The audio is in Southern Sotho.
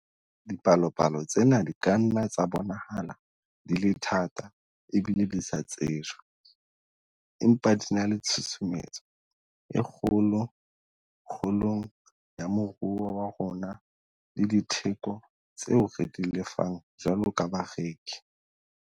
Dipalopalo tsena di ka nna tsa bonahala di le thata ebile di sa tsejwe, empa di na le tshusumetso e kgolo kgolong ya moruo wa rona le ho ditheko tseo re di lefang jwalo ka bareki.